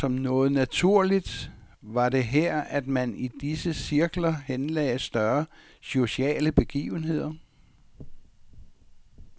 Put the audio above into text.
Og som noget naturligt var det her, at man i disse cirkler henlagde større sociale begivenheder.